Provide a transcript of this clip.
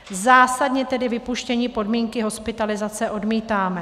Zásadně tedy vypuštění podmínky hospitalizace odmítáme.